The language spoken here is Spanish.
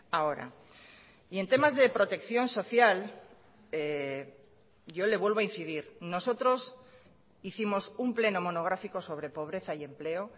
ahora y en temas de protección social yo le vuelvo a incidir nosotros hicimos un pleno monográfico sobre pobreza y empleo